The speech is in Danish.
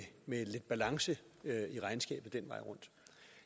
lidt balance i regnskabet